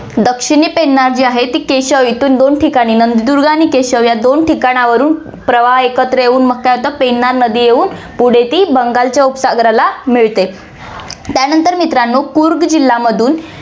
दक्षिणी पेन्नार जी आहे, ती केचव येथून दोन ठिकाणी, नंदीदुर्ग आणि केचव या ठिकाणावरुन प्रवाह एकत्र येऊन मग काय होतं, पेन्नार नदी येऊन पुढे ती बंगालच्या उपसागराला मिळते, त्यानंतर मित्रांनो, कुर्ग जिल्हामधून